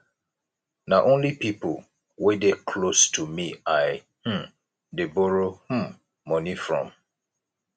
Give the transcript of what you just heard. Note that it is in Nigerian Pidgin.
na only pipo wey dey close to me i um dey borrow um moni from